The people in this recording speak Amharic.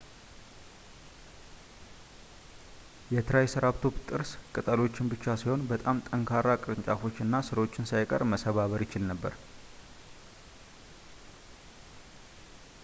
የ ትራይሰራፕቶፕ ጥርስ ቅጠሎችን ብቻ ሳይሆን በጣም ጠንካራ ቅርንጫፎችን እና ሥሮችን ሳይቀር መሰባበር ይችል ነበር